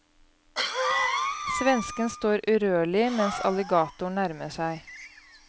Svensken står urørlig mens alligatoren nærmer seg.